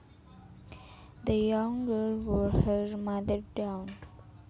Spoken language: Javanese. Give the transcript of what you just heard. The young girl wore her mother down